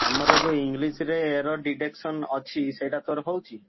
ଆମର ଯୋଉ English ରେ error detection ଅଛି ସେଇଟା ତୋର ହଉଛି?